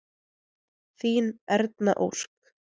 Þín Erna Ósk.